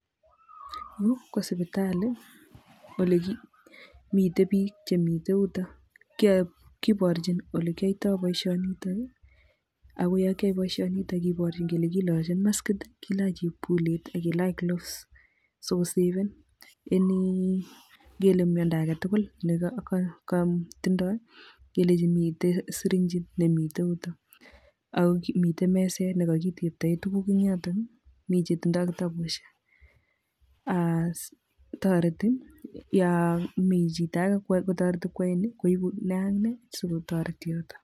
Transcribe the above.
Yu kosipitali mite biik chemite yutok kiborchin ole kiyoitoi boisionitok[ii] akoyokiae boisionitok kiborchin kele kilojin maskit[ii], kilach chepkulet akilach [cs gloves sokosaven any ngele miando agetugul nekotindoi kelechi mitei siringit nemite yutok akomite meset nekakitebtae tuguk eng yotok[ii] mi chetindoi kitabusiek [aas] toreti yomite chito ake kotoreti koaeni koibu nee ak nee sikotoreti yotok.